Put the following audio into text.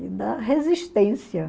E da resistência.